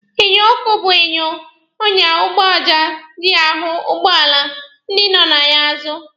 Enyo akụkụ bụ enyo ọnya ụgbọala ji ahụ ụgbọala ndị nọ ya n'azụ.